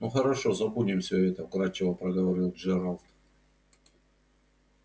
ну хорошо забудем все это вкрадчиво проговорил джералд